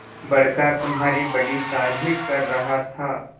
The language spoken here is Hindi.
बड़का तुम्हारी बड़ी तारीफ कर रहा था